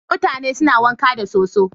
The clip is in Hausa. Mutane suna wanka da soso.